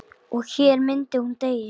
Og hér myndi hún deyja.